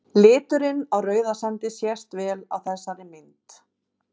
Liturinn á Rauðasandi sést vel á þessari mynd.